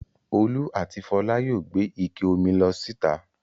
Olú àti Fọlá yóò gbé ike omi lọ síta.